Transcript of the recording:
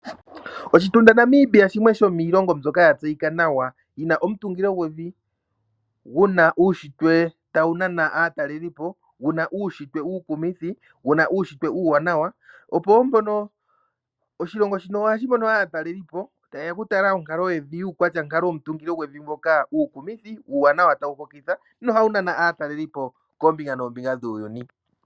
Oshitunda Namibia shimwe shomiilongo mbyoka ya tseyika nawa yi na omutungilo gwevi gu na uunshitwe tawu nana aatalelipo, gu na uunshitwe uukumithi, gu na uunshitwe uuwanawa. Oshilongo shino ohashi mono aatalelipo taye ya okutala onkalo yevi yuukwatyankalovi uukumithi, uuwanawa tawu hokitha nohawu nana aatalelipo koombinga noombinga dhuuyuni.